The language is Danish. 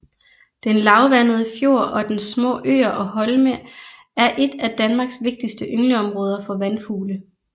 Den lavvandede fjord og dens små øer og holme er et af Danmarks vigtigste yngleområder for vandfugle